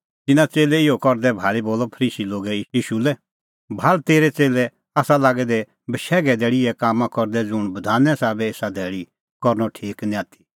तिन्नां च़ेल्लै इहअ करदै भाल़ी बोलअ फरीसी लोगै ईशू लै भाल़ तेरै च़ेल्लै आसा लागै दै बशैघे धैल़ी इहै कामां करदै ज़ुंण बधाने साबै एसा धैल़ी करनअ ठीक निं आथी